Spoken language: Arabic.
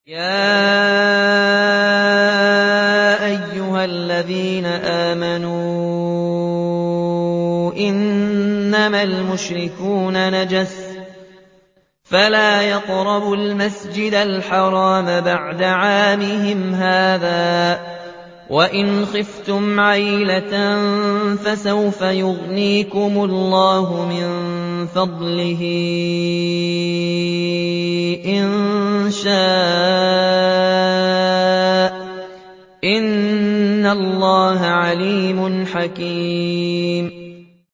يَا أَيُّهَا الَّذِينَ آمَنُوا إِنَّمَا الْمُشْرِكُونَ نَجَسٌ فَلَا يَقْرَبُوا الْمَسْجِدَ الْحَرَامَ بَعْدَ عَامِهِمْ هَٰذَا ۚ وَإِنْ خِفْتُمْ عَيْلَةً فَسَوْفَ يُغْنِيكُمُ اللَّهُ مِن فَضْلِهِ إِن شَاءَ ۚ إِنَّ اللَّهَ عَلِيمٌ حَكِيمٌ